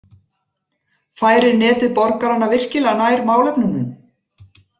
Færir Netið borgarana virkilega nær málefnunum?